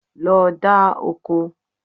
Lọ dá oko.